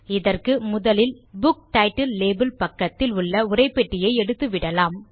இதற்கு முதலில் நாம் புக் டைட்டில் லேபல் பக்கத்தில் உள்ள உரைப்பெட்டியை எடுத்துவிடலாம்